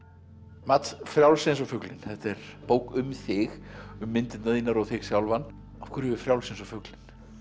mats Frjáls eins og fuglinn þetta er bók um þig um myndirnar þínar og þig sjálfan af hverju Frjáls eins og fuglinn